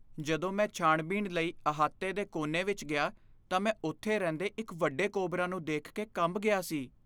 ਜਦੋਂ ਮੈਂ ਛਾਣਬੀਣ ਲਈ ਅਹਾਤੇ ਦੇ ਕੋਨੇ ਵਿੱਚ ਗਿਆ, ਤਾਂ ਮੈਂ ਉੱਥੇ ਰਹਿੰਦੇ ਇੱਕ ਵੱਡੇ ਕੋਬਰਾ ਨੂੰ ਦੇਖ ਕੇ ਕੰਬ ਗਿਆ ਸੀ।